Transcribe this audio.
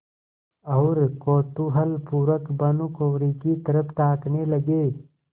और कौतूहलपूर्वक भानुकुँवरि की तरफ ताकने लगे